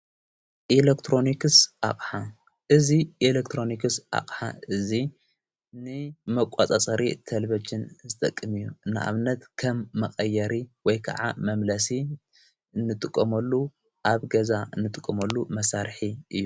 ኢለክትሮንክስ ኣቕዓ እዙ ኤለክትሮንክስ ኣቕሓ እዙይ ን መቋጻፀሪ ተልበጅን ዝጠቅም እዩ እንኣብነት ከም መቐየሪ ወይ ከዓ መምለሲ ንጥቆመሉ ኣብ ገዛ ንጥቆመሉ መሣርኂ እዩ።